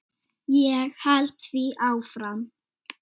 Ég held því áfram.